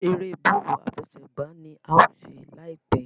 èrè Bọ́ọ̀lù àfẹsẹ̀gbá ní a ṣe láìpé.